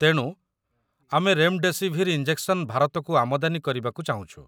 ତେଣୁ, ଆମେ remdesivir injection ଭାରତକୁ ଆମଦାନୀ କରିବାକୁ ଚାହୁଁଛୁ